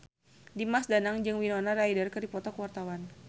Dimas Danang jeung Winona Ryder keur dipoto ku wartawan